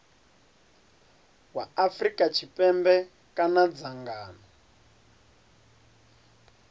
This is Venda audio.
wa afrika tshipembe kana dzangano